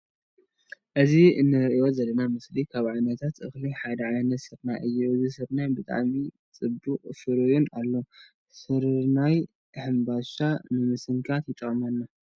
እዚ እንርአዮ ዘለና ምስሊ ካብ ዓይነትት እክሊ ሓደ ዓይነት ስርናይ እዩ። እዚ ስርናይ ብጣዕሚ ፀቢቁን ፈርዩን ኣሎ። ስርርናይ ሕምባሻ ንምስንካት ይጠቅመና።